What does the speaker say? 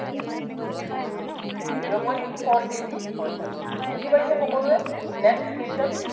zero point four KG হৈ যাব। বুজি পাইছে সকলোৱে, next question